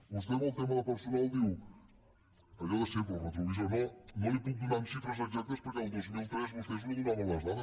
vostè en el tema de personal diu allò de sempre el retrovisor no li ho puc donar en xifres exactes perquè el dos mil tres vostès no donaven les dades